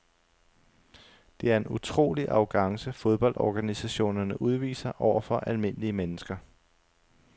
Det er en utrolig arrogance fodboldorganisationerne udviser over for almindelige mennesker.